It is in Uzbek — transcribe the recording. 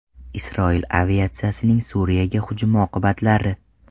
Isroil aviatsiyasining Suriyaga hujumi oqibatlari.